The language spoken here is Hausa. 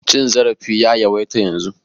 Cin zarafi ya yawaita yanzun.